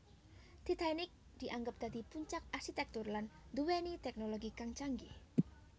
Titanic dianggep dadi puncak arsitèktur lan nduwèni tèknologi kang canggih